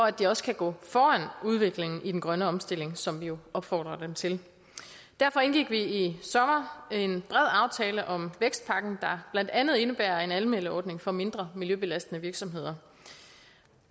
at de også kan gå foran udviklingen i den grønne omstilling som vi jo opfordrer dem til derfor indgik vi i sommer en bred aftale om vækstpakken der blandt andet indebærer en anmeldeordning for mindre miljøbelastende virksomheder